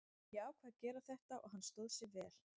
Ég ákvað að gera þetta og hann stóð sig vel.